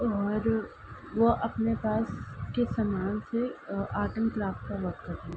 और वो अपने पास के सामान से अ आर्ट एंड क्राफ़्ट का वर्क कर रहे।